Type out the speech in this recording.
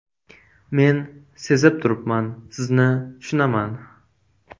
Men sezib turibman, sizni tushunaman.